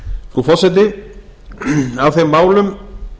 frú forseti af þeim málum